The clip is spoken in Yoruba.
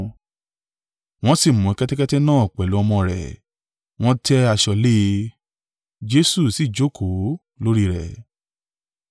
Wọ́n sì mú kẹ́tẹ́kẹ́tẹ́ náà pẹ̀lú ọmọ rẹ̀, wọ́n tẹ́ aṣọ lé e, Jesu si jókòó lórí rẹ̀.